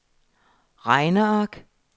regneark